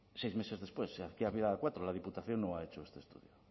seis meses después aquí había cuatro la diputación no ha hecho este estudio